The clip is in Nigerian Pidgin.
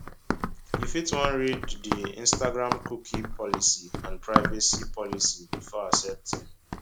you fit wan read di instagramcookie policyandprivacy policybefore accepting